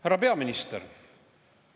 Härra peaminister!